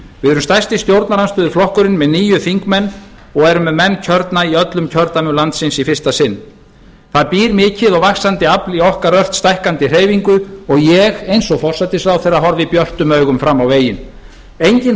við erum stærsti stjórnarandstöðuflokkurinn með níu þingmenn og erum með menn kjörna í öllum kjördæmum landsins í fyrsta sinn það býr mikið og vaxandi afl í okkar ört stækkandi hreyfingu og ég eins og forsætisráðherra horfi björtum augum fram á veginn enginn